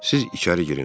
Siz içəri girin.